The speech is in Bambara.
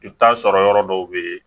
I bɛ t'a sɔrɔ yɔrɔ dɔw bɛ yen